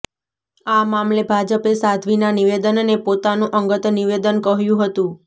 આ મામલે ભાજપે સાધ્વીના નિવેદનને પોતાનું અંગત નિવેદન કહ્યું હતું